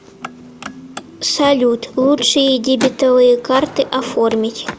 салют лучшие дебетовые карты оформить